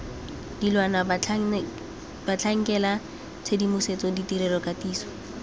dilwana batlhankela tshedimosetso ditirelo katiso